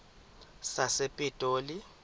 sasepitoli